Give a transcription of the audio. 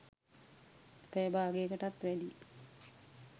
පැය භාගෙකටත් වැඩී